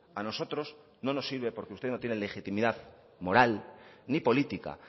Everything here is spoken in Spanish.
a nosotros no nos sirve porque usted no tiene legitimidad moral ni política